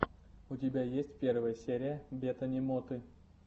у тебя есть первая серия бетани моты